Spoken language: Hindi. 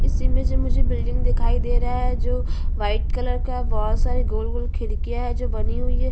इस इमेज में मुझे बिल्डिंग दिखाई दे रहा है जो व्हाइट कलर का है बहोत सारे गोल-गोल खिड़कियां है जो बनी हुई है।